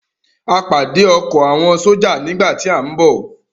A pàdé ọkọ̀ àwọn sójà nígbà tí à ń bọ̀